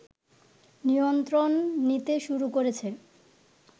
নিয়ন্ত্রণ নিতে শুরু করেছে